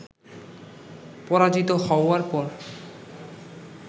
পরাজিত হওয়ার পর